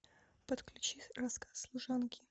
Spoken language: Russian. подключи рассказ служанки